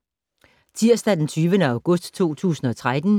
Tirsdag d. 20. august 2013